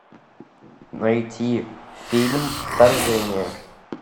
найти фильм вторжение